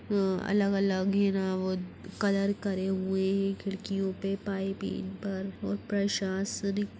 हाँ अलग-अलग घेरा और कलर करे हुए हैं खिड़कियों पे पाइपिंग पर और प्रशासनिक --